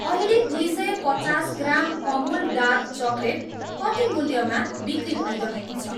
अहिले दुई सय पचास ग्राम अमुल डार्क चकलेट कति मूल्यमा बिक्री भइरहेको छ?